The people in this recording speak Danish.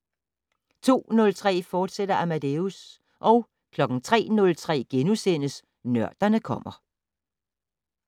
02:03: Amadeus, fortsat 03:03: Nørderne kommer *